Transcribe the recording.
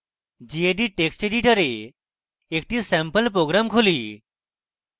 gedit text editor একটি sample program খুলি